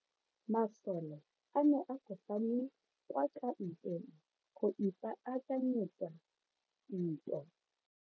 Masole a ne a kopane kwa kampeng go ipaakanyetsa ntwa.